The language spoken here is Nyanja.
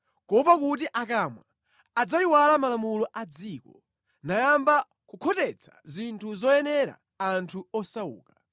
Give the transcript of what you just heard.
kuopa kuti akamwa adzayiwala malamulo a dziko, nayamba kukhotetsa zinthu zoyenera anthu osauka.